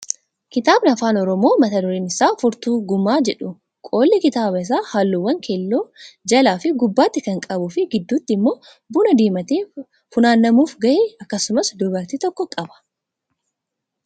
Kitaabni afaan oromoo mata dureen isaa Furtuu gumaa jedhu qolli kitaaba isaa halluuwwan keelloo jalaa fi gubbaatti kan qabuu fi gidduutti immoo buna diimatee funaanamuuf gahe akkasumas dubartii tokko qaba.